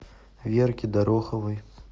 верке дороховой